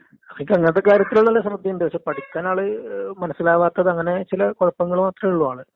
നമ്മളെല്ലാം നല്ലോണം പഠിച്ചിന്. പക്ഷേങ്കില് മുന്നോട്ട് പോവാൻ നമ്മളെക്കൊണ്ട് കഴിഞ്ഞിട്ടില്ല. അത്കൊണ്ട് നമ്മളിപ്പ വീട്ടില്.